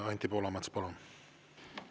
Anti Poolamets, palun!